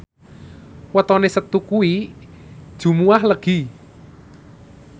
wetone Setu kuwi Jumuwah Legi